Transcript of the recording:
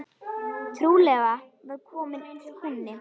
Trúlega var kominn kúnni.